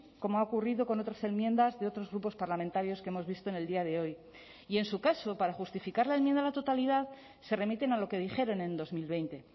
como ha ocurrido con otras enmiendas de otros grupos parlamentarios que hemos visto en el día de hoy y en su caso para justificar la enmienda a la totalidad se remiten a lo que dijeron en dos mil veinte